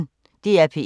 DR P1